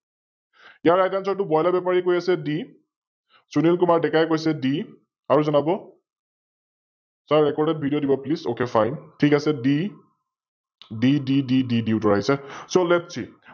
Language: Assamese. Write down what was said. ইয়াৰ তটো Broiler বেপাৰিয়ে কৈ আছে D, সুনিল কুমাৰ ডেকাই কৈছে D, আৰু জনাব, SiRRecordedVideo দিব Please, OkFine ঠিক আছে, D DDDD উত্তৰ আহিছে, SoLetSee